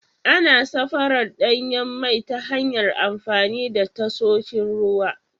Ana safarar danyen mai ta hanyar amfani da tasoshin ruwa.